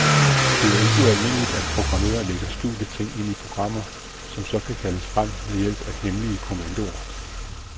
Det er ikke ualmindeligt, at programmører lægger skjulte ting ind i programmer, som så kan kaldes frem ved hjælp af hemmelige kommandoer.